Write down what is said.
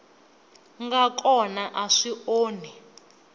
nga kona a swi onhi